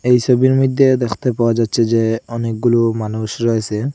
এই ছবির মইধ্যে দেখতে পাওয়া যাচ্ছে যে অনেকগুলো মানুষ রয়েসে ।